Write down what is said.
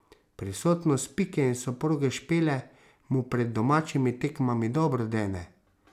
Prisotnost Pike in soproge Špele mu pred domačimi tekmami dobro dene.